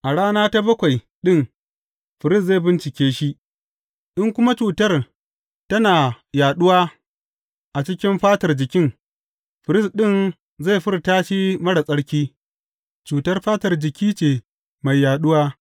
A rana ta bakwai ɗin firist zai bincike shi, in kuma cutar tana yaɗuwa a cikin fatar jikin, firist ɗin zai furta shi marar tsarki, cutar fatar jiki ce mai yaɗuwa.